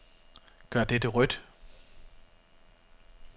Gør dette rødt.